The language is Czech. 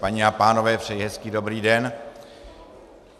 Paní a pánové, přeji hezký dobrý den.